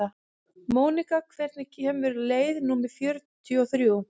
Mónika, hvenær kemur leið númer fjörutíu og þrjú?